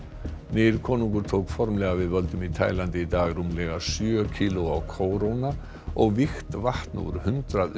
nýr konungur tók formlega við völdum í Tælandi í dag rúmlega sjö kílóa kóróna og vígt vatn úr hundrað